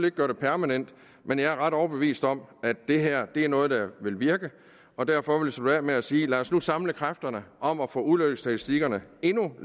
ikke gøre det permanent men jeg er ret overbevist om at det her er noget der vil virke og derfor vil jeg slutte af med at sige lad os nu samle kræfterne om at få ulykkesstatistikkerne endnu